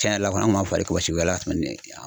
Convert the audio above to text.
Cɛn yɛrɛ la kɔni, an kun m'a kɔlɔsi